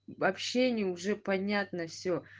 в общении уже понятно все